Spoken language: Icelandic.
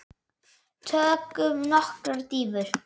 Tökum nokkrar dýfur!